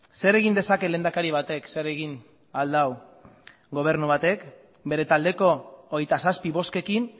zer egin dezake lehendakari batek zer egin ahal du gobernu batek bere taldeko hogeita zazpi bozkekin